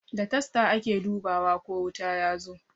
Da tasta ake dubawa ko wuta yazo